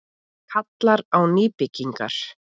Kallar á nýbyggingar